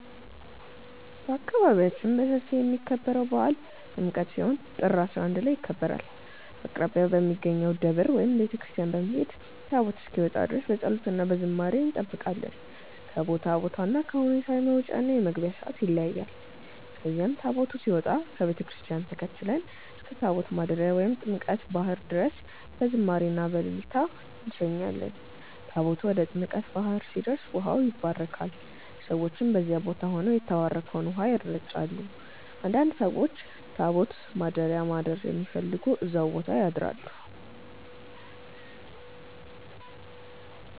በአካባቢያችን በሰፊ የሚከበረው በዓል ጥምቀት ሲሆን ጥር 11 ላይ ይከበራል። አቅራቢያ በሚገኘው ደብር ወይም ቤተ ክርስቲያን በመሄድ ታቦት እስኪወጣ ድረስ በፀሎት እና በዝማሬ እንጠብቃለን። ከቦታ ቦታ እና ከሁኔታ የመውጫ እና የመግቢያ ሰዓት ይለያያል። ከዚያም ታቦቱ ሲወጣ ከቤተ ክርስቲያን ተከትለን እስከ ታቦት ማደሪያ ወይም ጥምቀተ ባህር ድረስ በዝማሬ እና በእልልታ እንሸኛለን። ታቦቱ ወደ ጥምቀተ ባህር ሲደርስ ውሃው ይባረካል፣ ሰዎችም በዚያ ቦታ ሆነው የተባረከውን ውሃ ይረጫሉ። አንዳንድ ሰዎችም ታቦት ማደሪያ ማደር የሚፈልጉ እዛው ቦታ ያድራሉ።